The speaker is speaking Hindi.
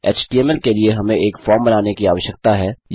एचटीएमएल के लिए हमें एक फॉर्म बनाने की आवश्यकता है